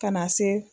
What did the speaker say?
Ka na se